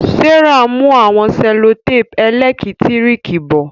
Serah n mú àwọn sellotape elekitiriki bo.